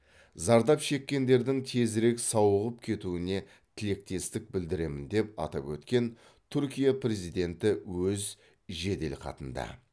зардап шеккендердің тезірек сауығып кетуіне тілектестік білдіремін деп атап өткен түркия президенті өз жеделхатында